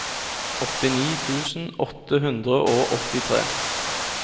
åttini tusen åtte hundre og åttitre